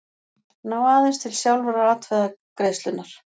ná aðeins til sjálfrar atkvæðagreiðslunnar.